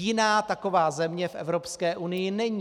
Jiná taková země v Evropské unii není.